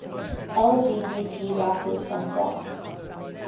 lgbt writers from france